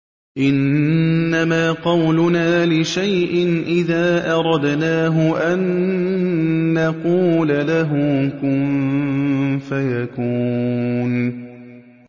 إِنَّمَا قَوْلُنَا لِشَيْءٍ إِذَا أَرَدْنَاهُ أَن نَّقُولَ لَهُ كُن فَيَكُونُ